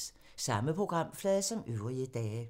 Samme programflade som øvrige dage